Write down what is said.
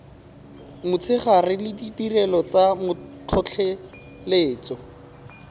motshegare le ditirelo tsa tlhotlheletso